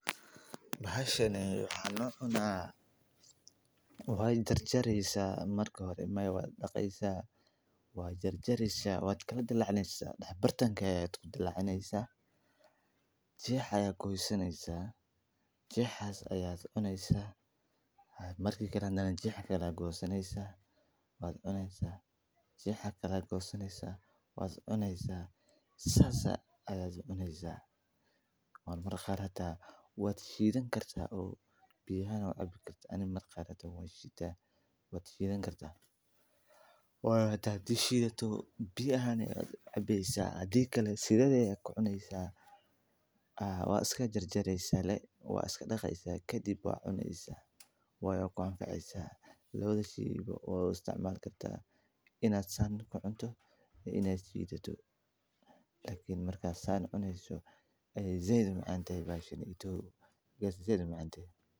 Bahashani maxaa loo cunaa, waa jar jareeysa marka hore, waa midho macaan oo asal ahaan ka yimid Meksiko, laakiin maanta waxaa laga beeraa meelo badan oo ku yaal qeybo kala duwan oo adduunka, sida Koonfur Ameerika, iyo qaar ka mid ah wadamada Bariga Dhexe, waxaana lagu isticmaalaa siyo kala duwan, sida cuntada qaadka ah, cabitaanka, iyo hilibka midhaha lagu daro riyoonada iyo baasta, waxaana leh dhadhan macaan oo qurux badan oo ay ku jiraan qaar ka mid ah dhadhanka, waxayna ku filan tahay quudinta fiibrada, fiitaminada, iyo mineralska.